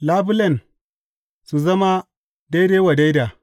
Labulen su zama daidai wa daida.